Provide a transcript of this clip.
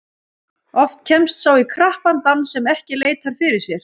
Oft kemst sá í krappan dans sem ekki leitar fyrir sér.